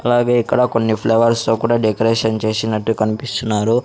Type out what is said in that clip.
అలాగే ఇక్కడ కొన్ని ఫ్లవర్స్ లో కూడా డెకరేషన్ చేసినట్టు కనిపిస్తున్నారు.